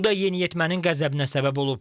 Bu da yeniyetmənin qəzəbinə səbəb olub.